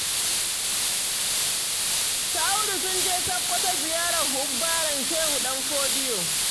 Su Audu sun je Sakkwato ziyarar hubbaren Shehu Ɗan Fodiyo